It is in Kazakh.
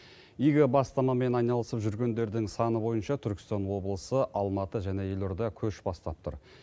игі бастамамен айналысып жүргендердің саны бойынша түркістан облысы алматы және елорда көш бастап тұр